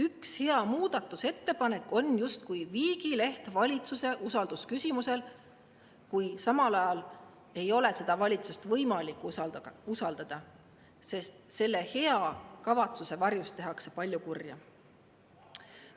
Üks hea muudatusettepanek on justkui viigileht valitsuse usaldamise küsimuse puhul, kuid samal ajal ei ole seda valitsust võimalik usaldada, sest selle hea kavatsuse varjus tehakse palju kurja.